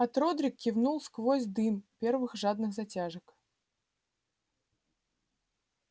от родрик кивнул сквозь дым первых жадных затяжек